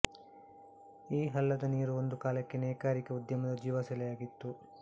ಈ ಹಳ್ಳದ ನೀರು ಒಂದು ಕಾಲಕ್ಕೆ ನೇಕಾರಿಕೆ ಉದ್ಯಮದ ಜೀವ ಸೆಲೆಯಾಗಿತ್ತು